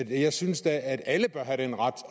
jeg synes da at alle bør have den ret